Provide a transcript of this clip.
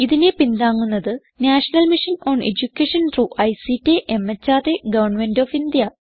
ഇതിനെ പിന്താങ്ങുന്നത് national mission on education through ICT MHRD government of India